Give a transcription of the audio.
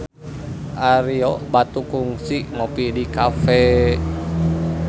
Ario Batu kungsi ngopi di cafe